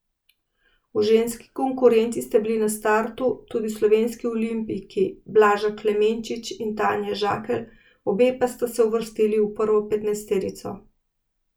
V ženski konkurenci sta bili na startu tudi slovenski olimpijki Blaža Klemenčič in Tanja Žakelj, obe pa sta se uvrstili v prvo petnajsterico.